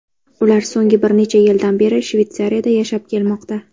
Ular so‘nggi bir necha yildan beri Shveysariyada yashab kelmoqda.